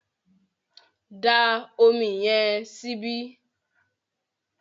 dá Omi yen síbi!